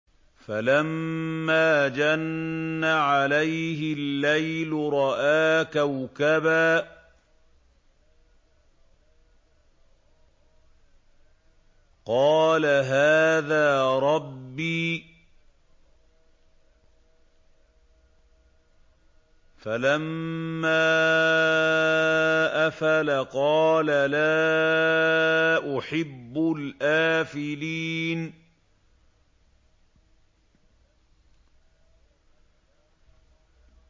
فَلَمَّا جَنَّ عَلَيْهِ اللَّيْلُ رَأَىٰ كَوْكَبًا ۖ قَالَ هَٰذَا رَبِّي ۖ فَلَمَّا أَفَلَ قَالَ لَا أُحِبُّ الْآفِلِينَ